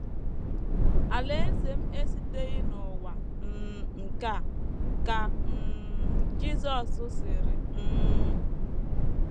“ Alaeze m esiteghị n’ụwa um nke a, ” ka um Jisọs sịrị um.